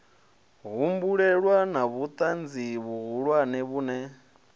humbulelwa na vhutanzi vhuhulwane vhune